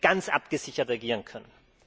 ganz abgesichert agieren können.